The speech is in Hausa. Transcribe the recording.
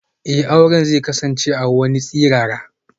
Eh, aure zai kasance a wani tsirara.